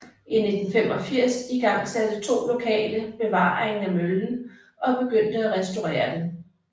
I 1985 igangsatte to lokale bevaringen af møllen og begyndte at restaurere den